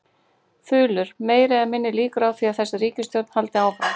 Þulur: Meiri eða minni líkur á því að þessi ríkisstjórn haldi áfram?